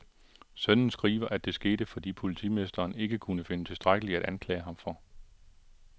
Sønnen skriver, at det skete, fordi politimesteren ikke kunne finde tilstrækkeligt at anklage ham for.